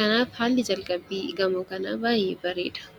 Kanaaf haalli jalqabbii gamoo kanaa baay'ee bareeda.